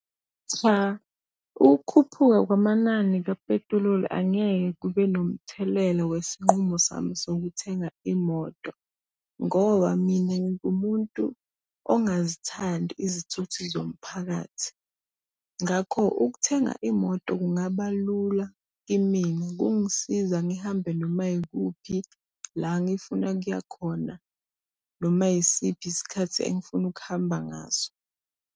Cha, ukukhuphuka kwamanani kapetiloli angeke kube nomthelela wesinqumo sami sokuthenga imoto. Ngoba mina ngingumuntu ongazithandi izithuthi zomphakathi. Ngakho ukuthenga imoto kungaba lula kimina, kungisiza ngihambe noma yikuphi la ngifuna kuya khona noma yisiphi isikhathi engifuna ukuhamba ngaso.